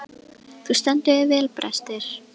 Þú stendur þig vel, Brestir!